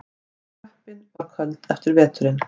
Klöppin var köld eftir veturinn.